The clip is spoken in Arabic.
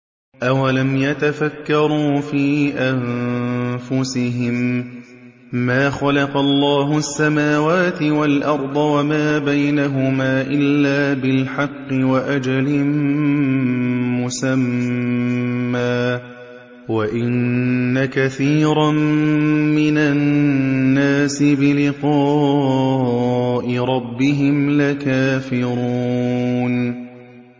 أَوَلَمْ يَتَفَكَّرُوا فِي أَنفُسِهِم ۗ مَّا خَلَقَ اللَّهُ السَّمَاوَاتِ وَالْأَرْضَ وَمَا بَيْنَهُمَا إِلَّا بِالْحَقِّ وَأَجَلٍ مُّسَمًّى ۗ وَإِنَّ كَثِيرًا مِّنَ النَّاسِ بِلِقَاءِ رَبِّهِمْ لَكَافِرُونَ